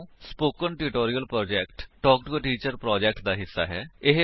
spoken tutorial project talk to a teacher project ਦਾ ਹਿੱਸਾ ਹੈ